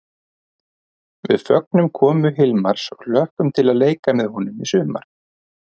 Við fögnum komu Hilmars og hlökkum til að leika með honum í sumar!